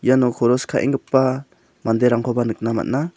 iano koros ka·enggipa manderangkoba nikna man·a.